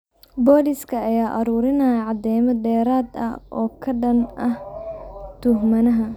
Booliiska ayaa aruurinaya cadeymo dheeraad ah oo ka dhan ah tuhmanaha.